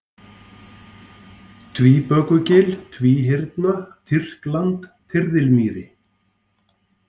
Tvíbökugil, Tvíhyrna, Tyrkland, Tyrðilmýri